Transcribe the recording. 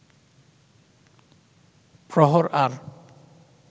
প্রহর আর